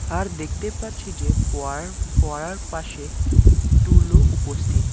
আর দেখতে পাচ্ছি যে পড়ারার-ফোয়ারার পাশে টুলও উপস্থিত।